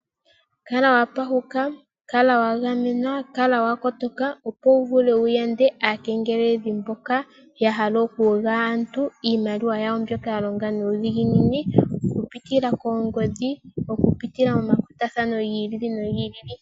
Kala wa pashuka, kala wagamenwa, kala wakotoka opo wuvule wuyande aakengeleledhi mboka ya hala okuyuga aantu iimaliwa yawo mbyoka yalonga nuudhiginini, okupitila koongodhi, okupitila momakwatathano gi ili nogi ili.